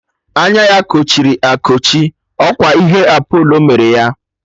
Anya ya kochiri ekochi, ọkwa ihe Apolo mere ya.